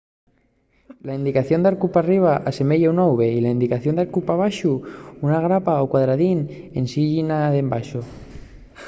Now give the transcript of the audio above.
la indicación de arcu p’arriba” asemeya una v y la indicación de arcu pa baxo” una grapa o un cuadradín ensin la llinia d’embaxo